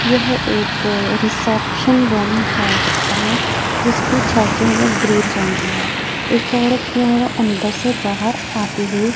यह एक reception room हो सकता है जिसके छज्जे में ग्रीन रंग की है। एक औरत जो है वह अंदर से बाहर आती हुई--